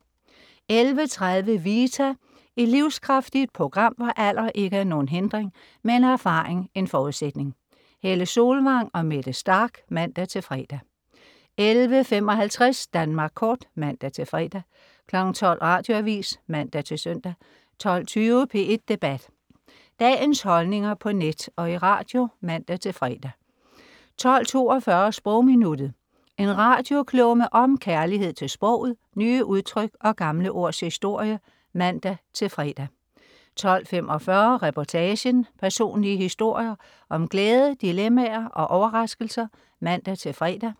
11.30 Vita. Et livskraftigt program, hvor alder ikke er nogen hindring, men erfaring en forudsætning. Helle Solvang og Mette Starch (man-fre) 11.55 Danmark Kort (man-fre) 12.00 Radioavis (man-søn) 12.20 P1 Debat. Dagens holdninger på net og i radio (man-fre) 12.42 Sprogminuttet. En radioklumme om kærlighed til sproget, nye udtryk og gamle ords historie (man-fre) 12.45 Reportagen. Personlige historier om glæde, dilemmaer og overraskelser (man-fre)